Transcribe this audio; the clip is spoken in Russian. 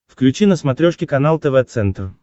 включи на смотрешке канал тв центр